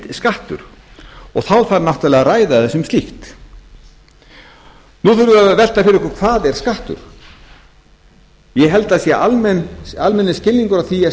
skattur og þá þarf náttúrlega að ræða það sem slíkt nú þurfum við að velta því fyrir okkur hvað er skattur ég held að það sé almennur skilningur á því að